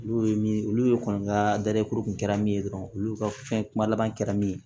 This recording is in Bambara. N'o ye min ye olu ye kɔni ka kun kɛra min ye dɔrɔn olu ka fɛn kuma laban kɛra min ye